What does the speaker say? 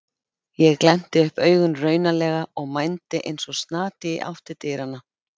Ég glennti upp augun raunalega og mændi eins og snati í átt til dyranna.